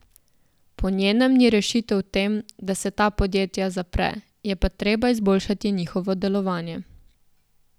Po njenem ni rešitev v tem, da se ta podjetja zapre, je pa treba izboljšati njihovo delovanje.